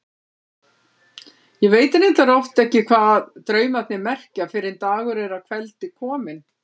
Ég veit reyndar oft ekki hvað draumarnir merkja fyrr en dagur er að kveldi kominn.